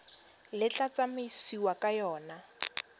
le tla tsamaisiwang ka yona